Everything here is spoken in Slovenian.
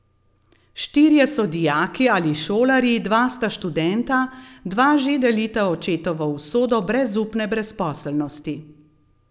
Štirje so dijaki ali šolarji, dva sta študenta, dva že delita očetovo usodo brezupne brezposelnosti.